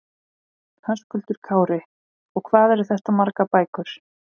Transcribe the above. Höskuldur Kári: Og hvað eru þetta margar bækur?